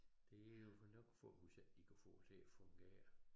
Det jo nok hvis ikke de kan få det til at fungere